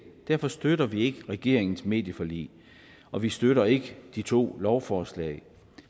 derfor støtter vi ikke regeringens medieforlig og vi støtter ikke de to lovforslag